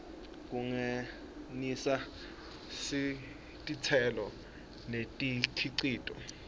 kungenisa titselo nemikhicito